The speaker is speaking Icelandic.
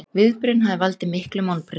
Viðbrögðin hafi valdið miklum vonbrigðum